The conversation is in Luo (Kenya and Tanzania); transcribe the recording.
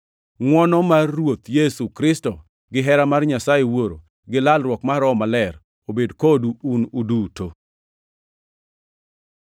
Ngʼwono mar Ruoth Yesu Kristo, gihera mar Nyasaye Wuoro, gi lalruok mar Roho Maler obed kodu un duto.